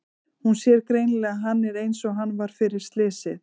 Hún sér greinilega að hann er einsog hann var fyrir slysið.